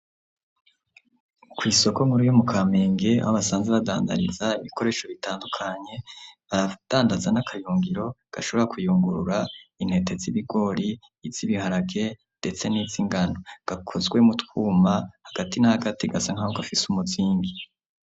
Kw'isoko nkuru, yo mu kamenge, aho basanzwe badandariza ibikoresho bitandukanye, baradandaza n'akayungiro, gashobora kuyungurura, intete z'ibigori, iz'ibiharage, ndetse n'iz'ingano; gakozwe mu twuma, hagati na hagati, gasa nk'aho gafise umuzingi.